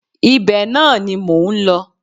Ibẹ̀ náà ni mò ń lọ